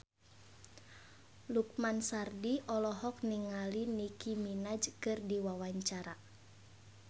Lukman Sardi olohok ningali Nicky Minaj keur diwawancara